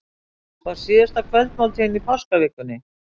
Var síðasta kvöldmáltíðin í páskavikunni?